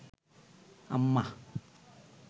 আম্মা